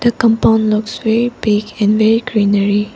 the compound looks very big and very greenery.